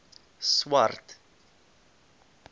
swart